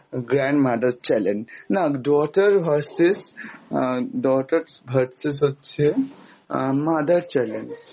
তারপর আস্তে আস্তে ওরা কী করল, মা আহ daughter and আহ grandmother, grandmother challenge, না daughter versus আহ daughter versus হচ্ছে আহ mother challenge।